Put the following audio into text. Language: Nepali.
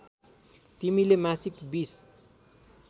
तिमीले मासिक २०